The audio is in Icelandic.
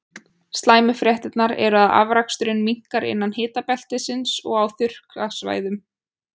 Slæmu fréttirnar eru að afraksturinn minnkar innan hitabeltisins og á þurrkasvæðum.